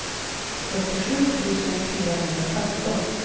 fyrtiosju tusen fyrahundrafemton